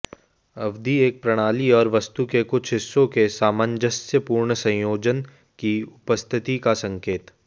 अवधि एक प्रणाली और वस्तु के कुछ हिस्सों के सामंजस्यपूर्ण संयोजन की उपस्थिति का संकेत